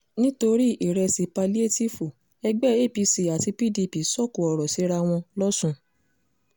nítorí ìrẹsì páláétìífù ẹgbẹ́ apc àti pdp sọ̀kò ọ̀rọ̀ síra wọn lọ́sùn